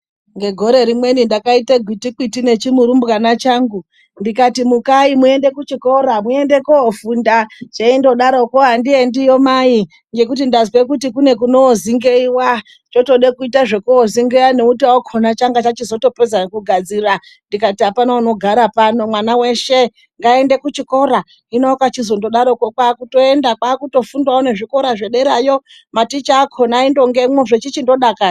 Ngegore rimweni, ndakaita gwiti gwiti nechimurumbwana changu. Ndikati mukai muende kuchikora, muende koofunda. Cheindodaroko chikati andiendeyo mai ngekuti ndazwe kuti kune kozingeiwa zvotoda kuita zvekuzingeiya. Chachotozopedza ngekugadzirira. Ndikati apana anogara pano mwana weshe ngaaende kuchikora. Hino kwaakuchizodaroko kwaakutoenda. Kwaakutofundawo zvederayo. Maticha akona aindongemwo zvechichitodakara.